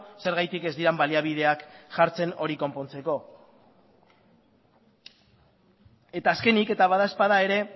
zergatik ez diren baliabideak jartzen hori konpontzeko eta azkenik eta bada ezpada ere